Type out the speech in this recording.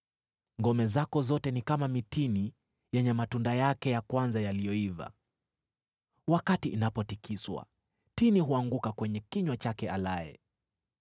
Ngome zako zote ni kama mitini yenye matunda yake ya kwanza yaliyoiva; wakati inapotikiswa, tini huanguka kwenye kinywa chake alaye.